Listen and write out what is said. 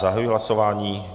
Zahajuji hlasování.